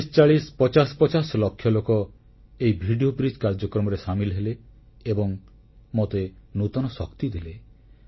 ଚାଳିଶଚାଳିଶ ପଚାଶ ପଚାଶ ଲକ୍ଷ ଲୋକ ଏହି ଭିଡିଓ ବ୍ରିଜ କାର୍ଯ୍ୟକ୍ରମରେ ସାମିଲ ହେଲେ ଏବଂ ମୋତେ ନୂତନ ଶକ୍ତି ଦେଲେ